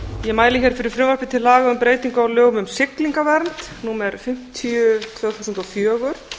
ég mæli hér fyrir frumvarpi til laga um breytingu á lögum um siglingavernd númer fimmtíu tvö þúsund og fjögur